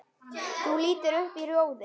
Þú lítur upp í rjóðri.